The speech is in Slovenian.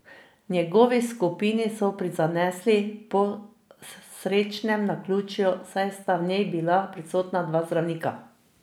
Njegovi skupini so prizanesli po srečnem naključju, saj sta v njej bila prisotna dva zdravnika.